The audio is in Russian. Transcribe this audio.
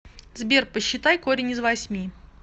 сбер посчитай корень из восьми